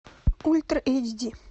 ультра эйчди